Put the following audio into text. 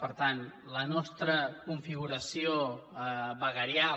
per tant la nostra configuració veguerial